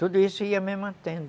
Tudo isso ia me mantendo.